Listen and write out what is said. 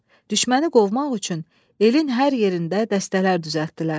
Düşməni qovmaq üçün elin hər yerində dəstələr düzəltdilər.